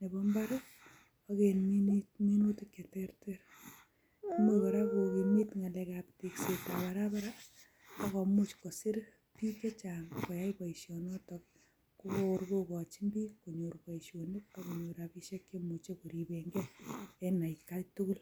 nebo mbar ak en minutik che terter. Imuch kora kogimit ng'alekap teksetab barabara agomuch kosir biik che chang koyai boisionoto kokor kogochin biik konyor boisionik ak konyor rabishek che imuche ko ribenge en at kai tugul.